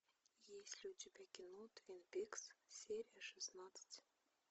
есть ли у тебя кино твин пикс серия шестнадцать